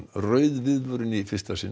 rauð viðvörun í fyrsta sinn